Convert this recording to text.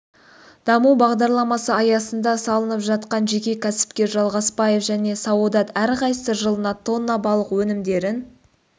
даму бағдарламасы аясында салынып жатқан жеке кәсіпкер жалғасбаев және саодат әрқайсысы жылына тонна балық өнімдерін